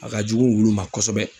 A ka jugu wulu ma kɔsɛbɛ.